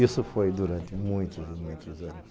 Isso foi durante muitos e muitos anos.